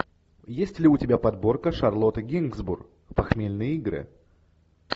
есть ли у тебя подборка шарлотта генсбур похмельные игры